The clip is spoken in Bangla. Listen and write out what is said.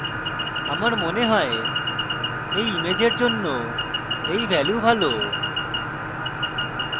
আমার মনে হয় এই ইমেজের জন্য এই value ভালো